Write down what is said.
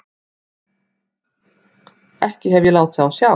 Ekki hef ég látið á sjá.